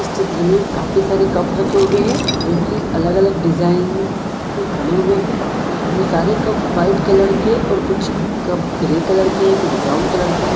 इस चित्र में काफी सारे कप रखे हुवे है जो कि अलग-अलग डिजाइन के बने हुवे है इस वो सारे कप व्हाइट कलर के और कुछ कप ग्रे कलर के कुछ ब्राउन कलर के --